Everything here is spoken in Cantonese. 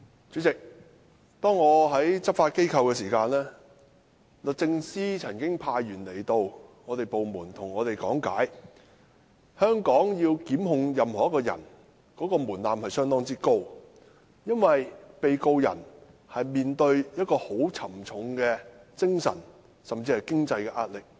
主席，我之前在執法機構任職時，律政司曾派員到我所屬的部門講解在作出檢控時採納非常高的門檻，因為面對官司的被告人要承受沉重的精神及經濟壓力。